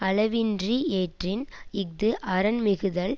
அளவின்றியேற்றின் இஃது அரண் மிகுதல்